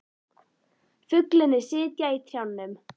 Fuglarnir sitja í trjánum.